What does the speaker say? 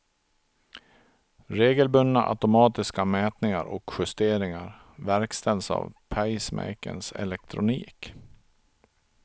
Regelbundna automatiska mätningar och justeringar verkställs av pacemakerns elektronik.